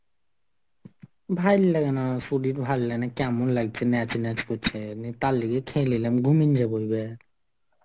ভাইল লাগে না. শরীর ভাল লাগে না. কেমন লাগছে ম্যাচ ম্যাচ করছে. তার লগে খেয়ে নিলাম.